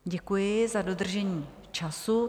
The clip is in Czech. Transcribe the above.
Děkuji za dodržení času.